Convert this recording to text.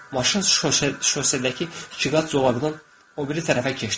Maşın şosekdəki iki qat zolaqdan o biri tərəfə keçdi.